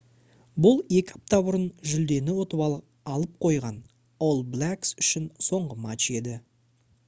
бұл екі апта бұрын жүлдені ұтып алып қойған all blacks үшін соңғы матч еді